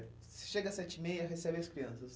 Você chega às sete e meia e recebe as crianças.